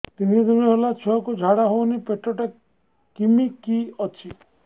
ତିନି ଦିନ ହେଲା ଛୁଆକୁ ଝାଡ଼ା ହଉନି ପେଟ ଟା କିମି କି ଅଛି